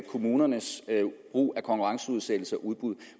kommunernes brug af konkurrenceudsættelse og udbud